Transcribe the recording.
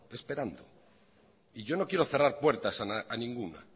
esperando yo no quiero cerrar puertas a ninguna